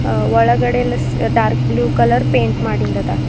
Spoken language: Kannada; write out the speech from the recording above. ಒಳಗಡೆ ಇಲ್ಲ ಡಾರ್ಕ್ ಬ್ಲೂ ಕಲರ್ ಪೆಂಟ್ ಮಾಡಿಂದದ.